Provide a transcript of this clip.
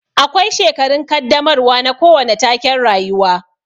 Akwai shekarun kaddamarwa na kowane taken rayuwa